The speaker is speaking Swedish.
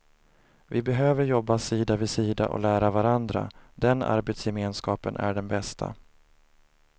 Vi behöver jobba sida vid sida och lära varandra, den arbetsgemenskapen är den bästa.